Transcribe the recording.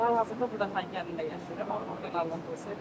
Mən hal-hazırda burda Xankənddə yaşayıram.